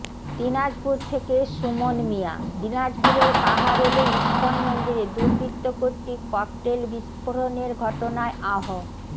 দিনাজপুর থেকে সুমন মিয়াঃ দিনাজপুরের কাহারোলে ইস্কন মন্দিরে দুবৃর্ত্ত কর্তৃক ককটেল বিস্ফরনের ঘটনায় আহ